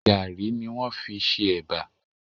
Gàárì ni wọ́n fi ṣe Ẹ̀bà